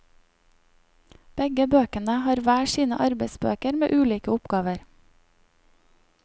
Begge bøkene har hver sine arbeidsbøker med ulike oppgaver.